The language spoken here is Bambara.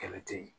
Kɛlɛ te ye